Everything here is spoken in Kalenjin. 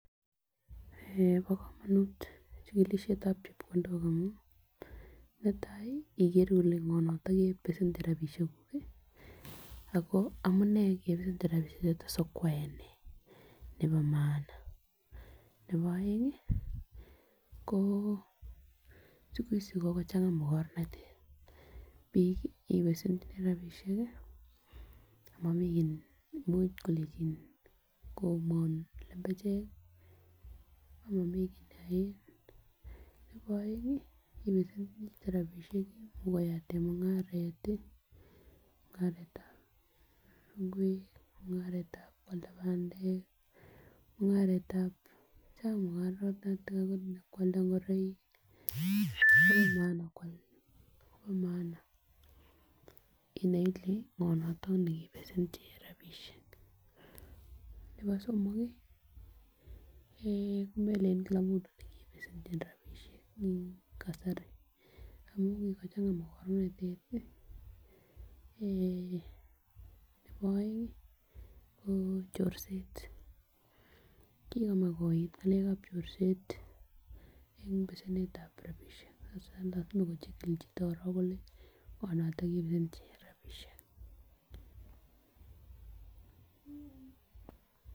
Eeh bo komonut chikilishetab chepkondok amun netai ikere kole ngo noton kebesenchi rabishek kuku Ako amunee kebesende rabishek choton sikwae nee nebo maana. Nebo oeng ko siku hizi kikochanga makornatet bik ibesendoi rabishek kii amomii much kolenjin komwaoun lembechek kii amomii kit neyoen, nebo oeng ibesenchini chito rabishek kwakoyatet mungaret tii, mungaretab ingwek mungaretab kwalda pandek, mungaretab Cheng mungaratok akonebo kwalda ingoroik Kobo maana kwal bo maana inai ile ngo noton nekebesenji rabishek. Nebo eeh komelen Kila mtu nekebesenchin rabishek en kasari amun kikochanga makornatet tii eeh nebo oengi ko chorset, kikomach kouit ngalekab chorset en besenetab rabishek hasa nyokochikili. chito korong kole ngo noton kebesenchi rabishek.